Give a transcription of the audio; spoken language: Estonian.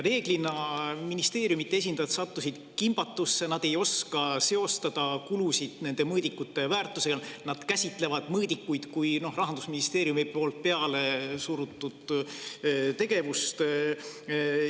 Ministeeriumide esindajad sattusid enamasti kimbatusse, nad ei oska seostada kulusid nende mõõdikute väärtusega ja käsitlevad mõõdikute kui Rahandusministeeriumist peale surutud tegevust.